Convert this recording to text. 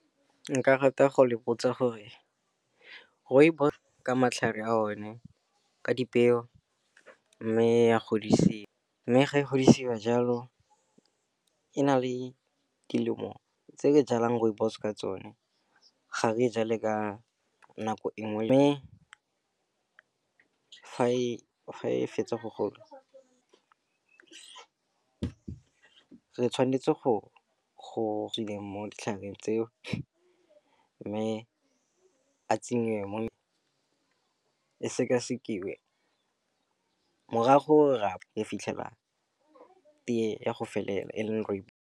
Nka rata go le botsa gore rooibos ka matlhare a o ne, ka dipeo mme ya godisiwa. Mme ga e godisiwa jalo e na le dilemo tse re jalang rooibos ka tsone. Ga re e jale ka nako e nngwe, le fa e fetsa go gola, re tshwanetse go mo ditlhareng tseo. Mme e sekasekiwe, morago re fitlhela tee ya go felela eleng rooibos.